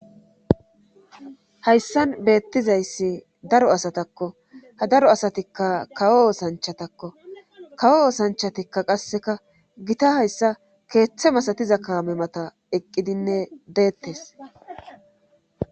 hayssan beettizayssi daro asatakko ha daro asatikka kawo osanchatakko kawo osanchatikka qasseka gita hayssa keeththe masatiza kaame mata eqqidinne deettes